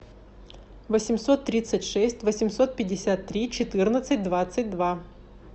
восемьсот тридцать шесть восемьсот пятьдесят три четырнадцать двадцать два